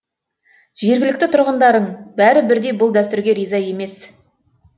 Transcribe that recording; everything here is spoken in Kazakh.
жергілікті тұрғындарың бәрі бірдей бұл дәстүрге риза емес